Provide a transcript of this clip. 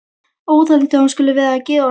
Óþolandi að hún skuli vera að gera honum þetta!